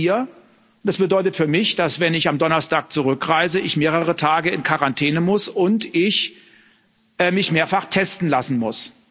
Ich bin jetzt hier, und das bedeutet für mich, dass, wenn ich am Donnerstag zurückreise, ich mehrere Tage in Quarantäne muss und ich mich mehrfach testen lassen muss.